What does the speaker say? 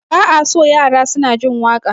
Ba a so yara suna jin waƙa